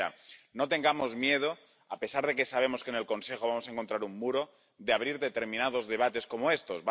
La primera no tengamos miedo, a pesar de que sabemos que en el Consejo vamos a encontrar un muro, de abrir determinados debates como estos